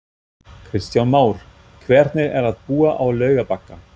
Kristján Már: Hvernig er að búa á Laugarbakka?